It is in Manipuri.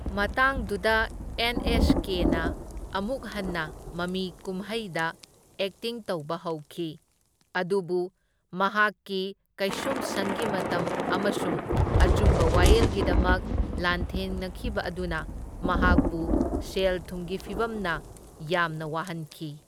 ꯃꯇꯥꯡꯗꯨꯗ ꯑꯦꯟ ꯑꯦꯁ ꯀꯦꯅ ꯑꯃꯨꯛ ꯍꯟꯅ ꯃꯃꯤ ꯀꯨꯝꯍꯩꯗ ꯑꯦꯛꯇꯤꯡ ꯇꯧꯕ ꯍꯧꯈꯤ, ꯑꯗꯨꯕꯨ ꯃꯍꯥꯛꯀꯤ ꯀꯩꯁꯨꯝꯁꯪꯒꯤ ꯃꯇꯝ ꯑꯃꯁꯨꯡ ꯑꯆꯨꯝꯕ ꯋꯥꯌꯦꯜꯒꯤꯗꯃꯛ ꯂꯥꯟꯊꯦꯡꯅꯈꯤꯕ ꯑꯗꯨꯅ ꯃꯍꯥꯛꯄꯨ ꯁꯦꯜ ꯊꯨꯝꯒꯤ ꯐꯤꯚꯝꯅ ꯌꯥꯝꯅ ꯋꯥꯍꯟꯈꯤ꯫